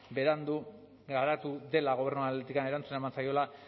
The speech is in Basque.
berandu garatu dela gobernuaren aldetik erantzuna eman zaiola